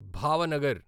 Bhavnagar